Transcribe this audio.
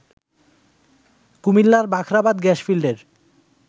কুমিল্লার বাখরাবাদ গ্যাস ফিল্ডের